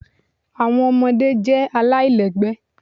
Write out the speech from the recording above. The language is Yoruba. Awọn ọmọde jẹ alailẹgbẹ